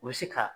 U bɛ se ka